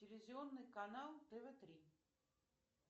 телевизионный канал тв три